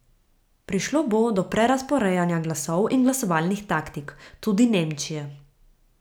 Prišlo bo do prerazporejanja glasov in glasovalnih taktik, tudi Nemčije.